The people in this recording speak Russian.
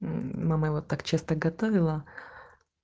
мама вот так часто готовила